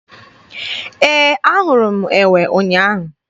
Ee, ahụrụ m enwe ụnyaahụ.